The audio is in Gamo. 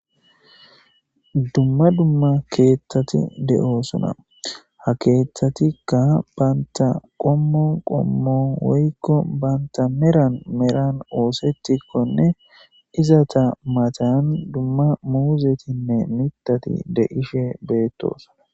dumma dumma keeththati de7o sona ha keeththatikka baanta qommon qommon woykko baanta meran meran oosetikkonne izata matan dumma muuzetinne mitati de ishe beetto sona